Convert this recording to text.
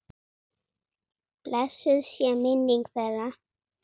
Blessuð sé minning þeirra.